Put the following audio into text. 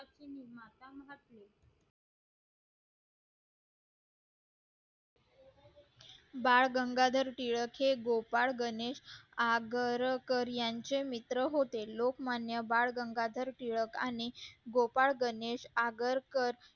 बाळ गंगाधर टिळक हे गोपाळ गणेश आगरकर यांचे मित्र होते लोकमान्य बाळ गंगाधर टिळक आणि गोपाळ गणेश आगरकर